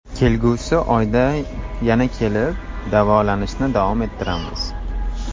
Kelgusi oyda yana kelib, davolanishni davom ettiramiz.